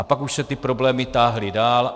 A pak už se ty problémy táhly dál.